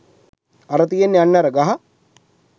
අර තියෙන්නෙ අන්න අර ගහ